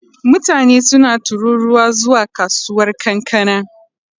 Mutane suna tururuwa zuwa kasuwar kankana.